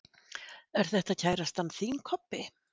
Er þetta kærastan þín, Kobbi?